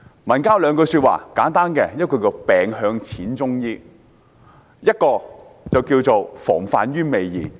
民間有兩句簡單的說話，其一是"病向'淺'中醫"，另一句是"防患於未然"。